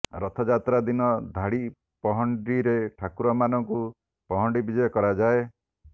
ରଥଯାତ୍ରା ଦିନ ଧାଡ଼ି ପହଣ୍ଡିରେ ଠାକୁରମାନଙ୍କୁ ପହଣ୍ଡି ବିଜେ କରାଯାଏ